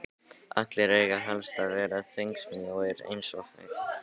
Allir eiga helst að vera þvengmjóir eins og fyrirsætur.